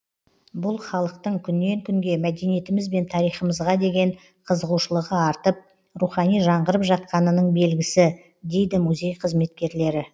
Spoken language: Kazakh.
бұл халықтың күннен күнге мәдениетіміз бен тарихымызға деген қызығушылығы артып рухани жаңғырып жатқанының белгісі дейді музей қызметкерлері